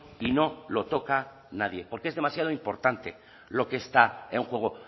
y no lo toca nadie porque es demasiado importante lo que está en juego